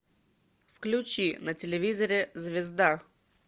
включи на телевизоре звезда